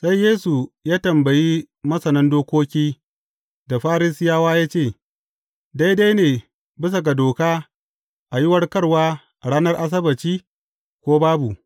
Sai Yesu ya tambayi masanan dokoki da Farisiyawa ya ce, Daidai ne bisa ga doka, a yi warkarwa a ranar Asabbaci, ko babu?